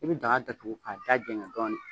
I bi daga datugu k'a dajɛngɛ dɔɔnin.